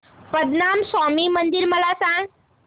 पद्मनाभ स्वामी मंदिर मला सांग